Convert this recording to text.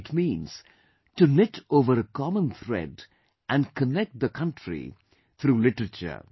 It means to knit over a common thread and connect the country through literature